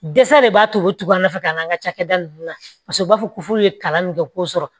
Dɛsɛ de b'a to u tugu an nɔfɛ ka n'an ka cakɛda nunnu na paseke u b'a fɔ ko furu ye kalan min kɛ k'o sɔrɔ